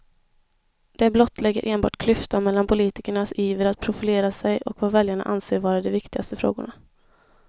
Det blottlägger enbart klyftan mellan politikernas iver att profilera sig och vad väljarna anser vara de viktigaste frågorna.